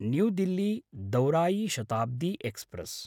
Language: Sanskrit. न्यू दिल्ली–दौरायि शताब्दी एक्स्प्रेस्